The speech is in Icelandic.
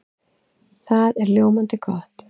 Það er ljómandi gott!